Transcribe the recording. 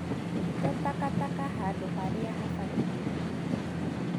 Te takataka handũ harĩa habatiĩ